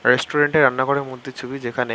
restaurant -এ রান্নাঘর এর মধ্যে ছবি যেখানে--